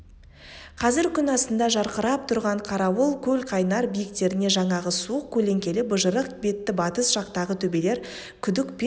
қазір күн астында жарқырап тұрған қарауыл көлқайнар биіктеріне жаңағы суық көлеңкелі быжырық бетті батыс жақтағы төбелер күдік пен